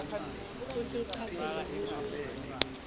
kutsi ucaphele kutsi